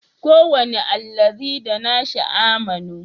Kowane allazi da nashi amanu